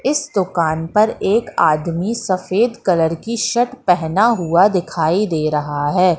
इस दुकान पर एक आदमी सफेद कलर की शर्ट पहना हुआ दिखाई दे रहा है।